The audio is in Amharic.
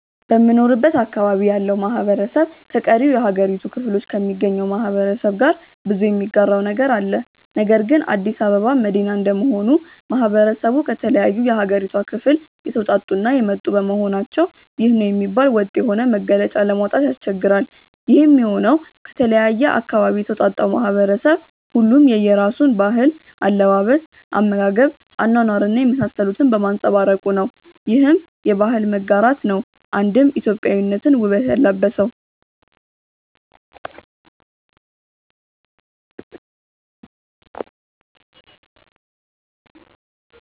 በምኖርበት አካባቢ ያለው ማህበረሰብ ከቀሪው የሀገሪቱ ክፍሎ ከሚገኘው ማህበረሰብ ጋር ብዙ የሚጋራው ነገር አለ። ነገር ግን አዲስ አበባ መዲና እንደመሆኑ ማህበረሰቡ ከተለያዩ የሀገሪቷ ክፍል የተወጣጡ እና የመጡ በመሆናቸው ይህ ነው የሚባል ወጥ የሆነ መገለጫ ለማውጣት ያስቸግራል። ይሄም የሆነው ከተለያየ አካባቢ የተውጣጣው ማህበረሰብ ሁሉም የየራሱን ባህል፣ አለባበስ፣ አመጋገብ፣ አኗኗር እና የመሳሰሉትን በማንፀባረቁ ነው። ይህም የባህል መጋራት ነው አንድም ኢትዮጵያዊነትን ውበት ያላበሰው።